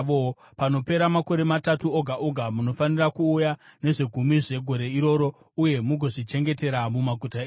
Panopera makore matatu oga oga, munofanira kuuya nezvegumi zvegore iroro uye mugozvichengetera mumaguta enyu,